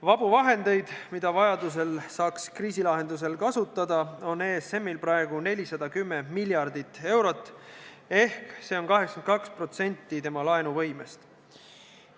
Vabu vahendeid, mida vajaduse korral saaks kriisilahenduseks kasutada, on ESM-il praegu 410 miljardit eurot ehk 82% tema laenuvõimest.